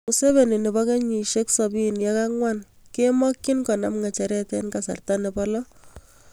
Museveni, nebo kenyiisiek 74, kemakchini konam ng'echereet eng' kasarta nebo lo